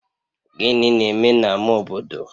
Gịnị na-eme na ama obodo?